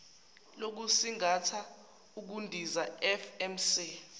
lokusingatha ukundiza fms